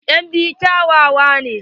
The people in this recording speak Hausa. En biyu kyawawa ne.